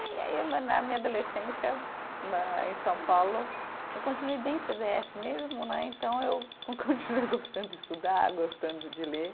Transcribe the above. E na, na minha adolescência né, em São Paulo, eu continuei bem cê dê efe mesmo né, então eu continuei gostando de estudar, gostando de ler.